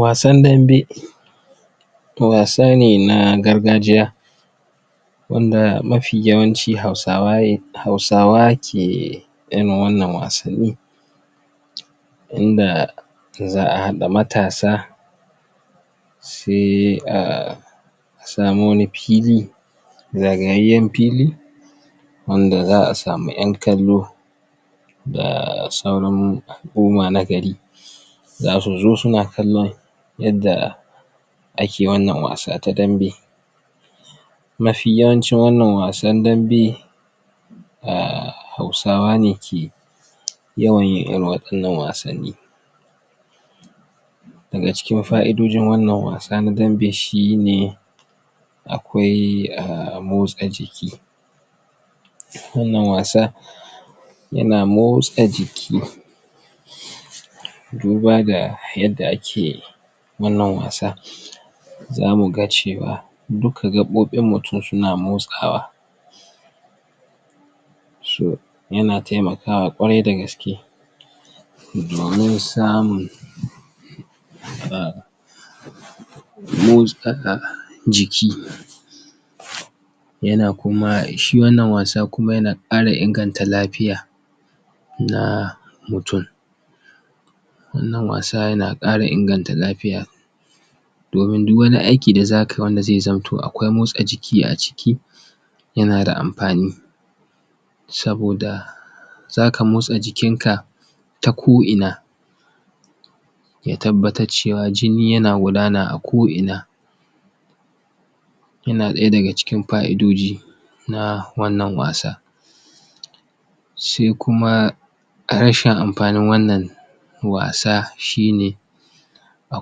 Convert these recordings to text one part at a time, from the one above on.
Wasan dambe wasa ne na gargajiya wanda mafi yawancin Hausawa ne Hausawa ke irin wannan wasan ni inda za'a haɗa matasa sai a samu wani fili zagayayyan fili wanda za'a samu 'yan kallo a sauran hukuma na gari zasu zo suna kallon yadda ake wannan wasa ta dambe mafi yawancin wannan wasan dambe a Hausawe ke yi yawan yin irin waɗannan wasanni daga cikin fa'idojin wannan wasa na dambe shine akwai a motsa jiki wannan wasa yana motsa jiki duba ga yadda ake wannan wasa zamu ga cewa duka gaɓoɓin mutum suns motsawa so yana taimakawa kwarai da gaske domin samun a motsaka jiki yana kuma, shi wannan wasa kuma yana ƙara inganta lafiya da mutum wannan wasa yana ƙara inganta lafiya domin duk wani aiki da za kai wanda zai zamto akwai motsa jiki a ciki yana da amfani saboda zaka motsa jiki ka ta ko ina ya tabbatar cewa jini yana gudana a ko ina yana ɗaya daga cikin fa'idodi na wannan wasa sai kuma rashin amfanin wannan wasa shine a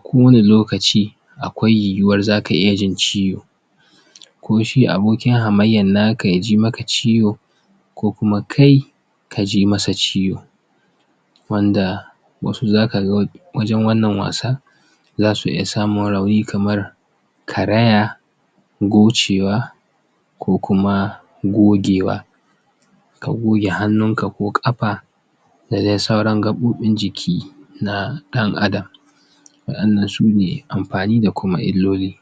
kowanne lokaci akwai yiyuwar zaka iya jin ciwo kuma shi abokin hamayyar naka yaji maka ciwo ko kuma kai kaji masa ciwo wanda wasu zakaga wa wajan wannan wasa zasu iya zamun rauni kamar karaya gocewa ko kuma gogewa ka goge hannun ka ko ƙafa da dai sauran gabobin jiki na ɗan Adam waɗannan sune amfani da kuma illoli